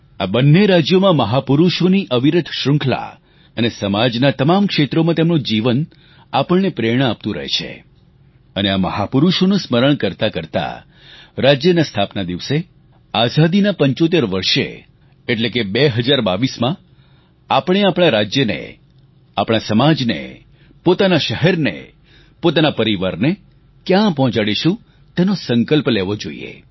આ બંને રાજ્યોમાં મહાપુરૂષોની અવિરત શ્રૃંખલા અને સમાજનાં તમામ ક્ષેત્રોમાં તેમનું જીવન આપણને પ્રેરણા આપતું રહે છે અને આ મહાપુરૂષોનું સ્મરણ કરતાં કરતાં રાજ્યના સ્થાપના દિવસે આઝાદીનાં 75 વર્ષે એટલે કે 2022માં આપણે આપણા રાજ્યને આપણા સમાજને પોતાના શહેરને પોતાના પરિવારને ક્યાં પહોંચાડીશું તેનો સંકલ્પ લેવો જોઈએ